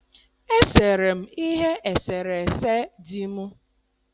Esere m ihe eserese di m.